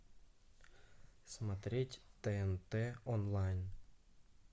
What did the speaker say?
смотреть тнт онлайн